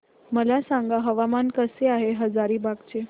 मला सांगा हवामान कसे आहे हजारीबाग चे